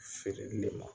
Feereli le ma